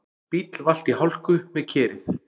Bíll valt í hálku við Kerið